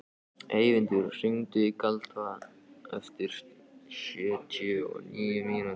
Eyvindur, hringdu í Kalda eftir sjötíu og níu mínútur.